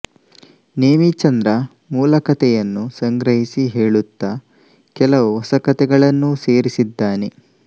ನೇಮಿಚಂದ್ರ ಮೂಲಕಥೆಯನ್ನು ಸಂಗ್ರಹಿಸಿ ಹೇಳುತ್ತ ಕೆಲವು ಹೊಸ ಕಥೆಗಳನ್ನೂ ಸೇರಿಸಿದ್ದಾನೆ